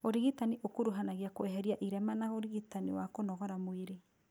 ũrigitani ũkuruhanagia kweheria irema na ũrigitani wa kũnogora mwĩrĩ